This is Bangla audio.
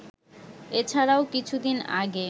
এছাড়াও কিছুদিন আগে